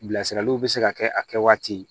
Bilasiraliw bɛ se ka kɛ a kɛ waati ye